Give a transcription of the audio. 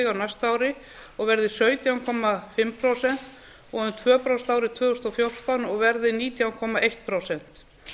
á næsta ári og verði sautján komma fimm prósent og um tvö prósent á árinu tvö þúsund og fjórtán og verði nítján komma eitt prósent